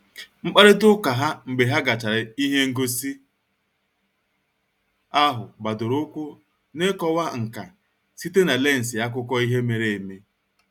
Mkparịta ụka ha mgbe ha gachara ihe ngosi ahụ gbadoro ụkwụ n'ịkọwa nka site na lensị akụkọ ihe mere eme